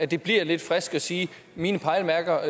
det bliver lidt friskt at sige mine pejlemærker